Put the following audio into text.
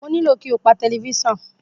Mo ní kí o pa tẹlifísàn.